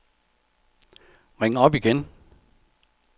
ring op igen